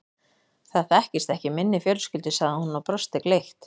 Það þekkist ekki í minni fjölskyldu sagði hún og brosti gleitt.